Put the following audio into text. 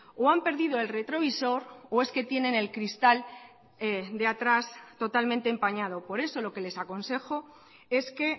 o han perdido el retrovisor o es que tienen el cristal de atrás totalmente empañado por eso lo que les aconsejo es que